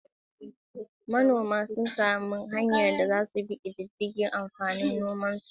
Manoma sun sami damar bin diddigin yawan amfanin gonakin da aka girbe albarkacin dabarar kirgawa.